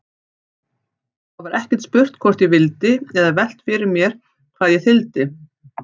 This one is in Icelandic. Það var ekkert spurt hvort ég vildi eða velt fyrir sér hvað ég þyldi.